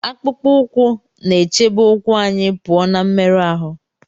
Akpụkpọ ụkwụ na-echebe ụkwụ anyị pụọ na mmerụ ahụ